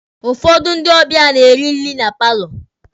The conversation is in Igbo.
Ụfọdụ ndị ọbịa na-eri nri na paalọ.